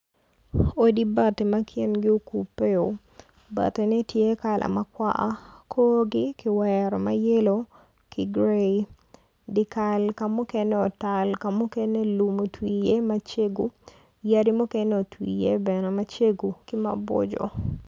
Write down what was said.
Odi bati ma kingi okupe o bati ne tye kala makwar korgi kiwero mayello ki grey dikal kamukene otal kamukene lum otwi i ye macego yadi mukene otwi i ye bene macego ki maboco.